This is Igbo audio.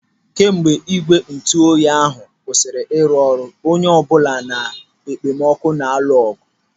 Kemgbe ígwè ntụoyi ahụ kwụsịrị ịrụ ọrụ, onye ọbụla na okpomọkụ na-alụ ọgụ.